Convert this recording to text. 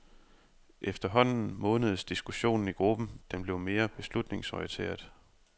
Efterhånden modnedes diskussionen i gruppen, den blev mere beslutningsorienteret.